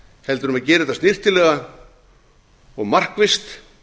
heldur um að gera þetta snyrtilega og markvisst